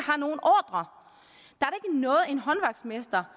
noget en håndværksmester